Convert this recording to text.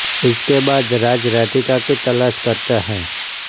इसके बाद राज राधिका की तलाश करता है